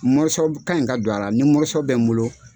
Mɔrɔso ka ɲi ka don ara ni mɔrɔso bɛ n bolo